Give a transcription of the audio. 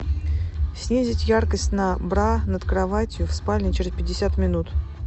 снизить яркость на бра над кроватью в спальне через пятьдесят минут